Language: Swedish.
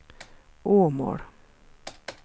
Åmål